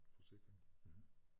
Forsikring